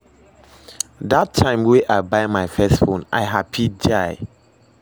Dat time wey I buy my first phone, I happy die